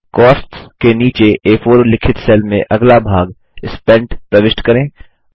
costs के नीचे आ4 उल्लिखित सेल में अगला भाग स्पेंट प्रविष्ट करें